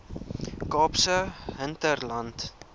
kaapse hinterland